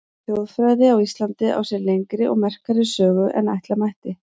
Þjóðfræði á Íslandi á sér lengri og merkari sögu en ætla mætti.